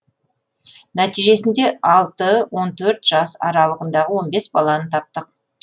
нәтижесінде алты он төрт жас аралығындағы он бес баланы таптық